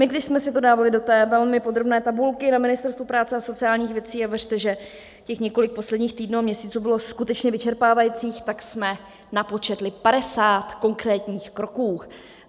My když jsme si to dávali do té velmi podrobné tabulky na Ministerstvu práce a sociálních věcí - a věřte, že těch několik posledních týdnů a měsíců bylo skutečně vyčerpávajících - tak jsme napočetli 50 konkrétních kroků.